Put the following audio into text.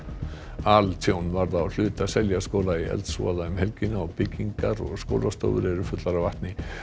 altjón varð á hluta Seljaskóla í eldsvoða um helgina og byggingar og skólastofur eru fullar af vatni